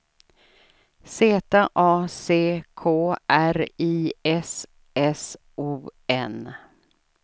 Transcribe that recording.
Z A C K R I S S O N